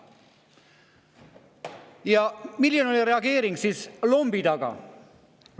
Ja milline oli reageering lombi taga?